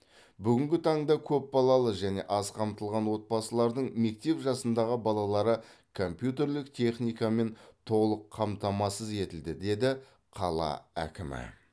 бүгінгі таңда көпбалалы және аз қамтылған отбасылардың мектеп жасындағы балалары компьютерлік техникамен толық қамтамасыз етілді деді қала әкімі